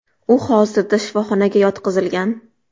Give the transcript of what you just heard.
U hozirda shifoxonaga yotqizilgan.